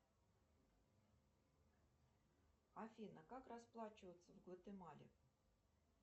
афина как расплачиваться в гватемале